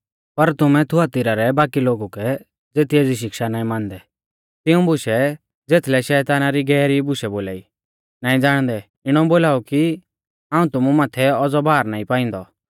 पर तुमै थुआतीरा रै बाकी लोगु कै ज़ेती एज़ी शिक्षा नाईं मानदै तिऊं बुशै ज़ेथलै शैताना री गैहरी बुशै बोलाई नाईं ज़ाणदै इणौ बोलाऊ कि हाऊं तुमु माथै औज़ौ भार नाईं पांइदौ